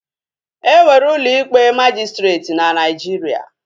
E nwere ụlọ ikpe majịstreetị na Naijiria